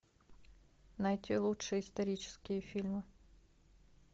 найти лучшие исторические фильмы